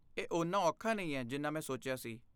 ਇਹ ਓਨਾ ਔਖਾ ਨਹੀਂ ਹੈ ਜਿੰਨਾ ਮੈਂ ਸੋਚਿਆ ਸੀ।